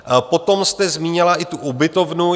Potom jste zmínila i tu ubytovnu.